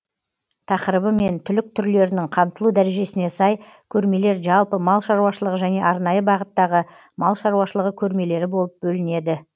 тақырыбы мен түлік түрлерінің қамтылу дәрежесіне сай көрмелер жалпы мал шаруашылығы және арнайы бағыттағы мал шаруашылығы көрмелері болып бөлінеді